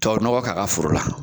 Tubabu nɔgɔ k'a ka foro la.